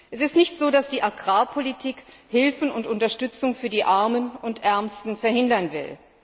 Es ist nicht so, dass die Agrarpolitik Hilfe und Unterstützung für die Armen und Ärmsten verhindern will.